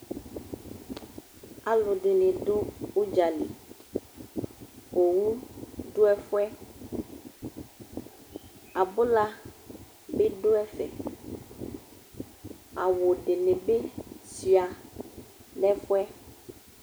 Alʋdɩnɩ dʋ ʋdza li Owu dʋ ɛfʋ yɛ Abʋla bɩ dʋ ɛfɛ Awʋ dɩnɩ bɩ sʋɩa nʋ ɛfʋ yɛ